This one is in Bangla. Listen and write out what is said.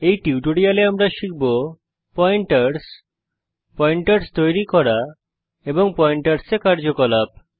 এই টিউটোরিয়ালে আমরা শিখব পয়েন্টারস পয়েন্টারস তৈরী করা এবং পয়েন্টারসে কার্যকলাপ